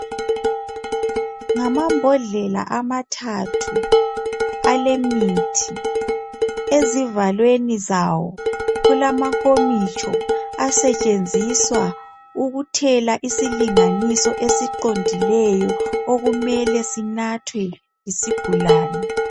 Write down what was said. Ngama mbodlela amathathu alemithi ezivalweni zawo kulamankomitsho asetshenziswa ukuthela isilinganiso esiqondileyo okumele sinathwe yisigulane.